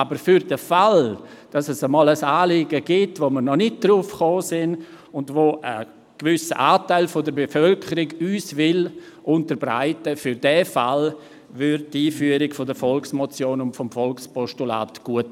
Aber für den Fall, dass es einmal ein Anliegen gibt, auf welches wir nicht selber gekommen sind und welches uns ein gewisser Anteil der Bevölkerung unterbreiten will, täte die Einführung der Volksmotion und des Volkspostulats gut.